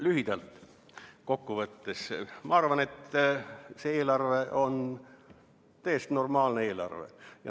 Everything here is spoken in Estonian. Lühidalt kokku võttes ma arvan, et see eelarve on täiesti normaalne eelarve.